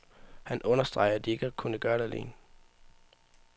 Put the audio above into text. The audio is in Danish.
Han understreger, at de ikke har kunnet gøre det alene.